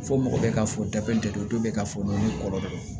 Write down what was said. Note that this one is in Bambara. Fo mɔgɔ bɛ ka fɔ da kelen tɛ dɔ bɛ ka fɔ i kɔrɔ dɔrɔn